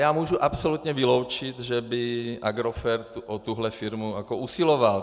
Já můžu absolutně vyloučit, že by Agrofert o tuhle firmu usiloval.